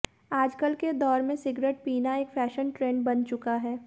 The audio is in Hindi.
आजकल के दौर में सिगरेट पीना एक फैशन ट्रेंड बन चुका हैं